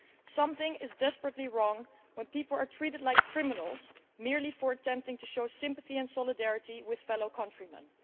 Something is desperately wrong when people are treated like criminals merely for attempting to show sympathy and solidarity with fellow countrymen.